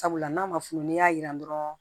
Sabula n'a ma fu n'i y'a jiran dɔrɔn